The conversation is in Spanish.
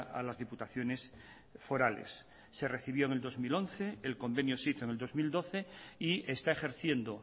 a las diputaciones forales se recibió en el dos mil once el convenio se hizo en el dos mil doce y está ejerciendo